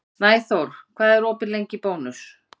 Snæþór, hvað er opið lengi í Bónus?